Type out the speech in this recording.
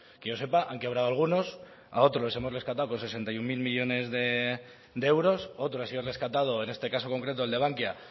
que yo sepa han quebrado algunos a otros los hemos rescatado con sesenta y uno mil millónes de euros otro ha sido rescatado en este caso concreto el de bankia